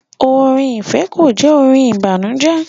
Orin ifẹ kò jẹ orin ìbànújẹ